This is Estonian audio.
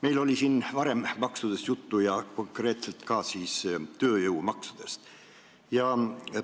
Meil oli siin varem maksudest juttu, konkreetselt ka tööjõumaksudest.